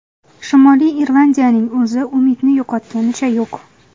Shimoliy Irlandiyaning o‘zi umidni yo‘qotganicha yo‘q.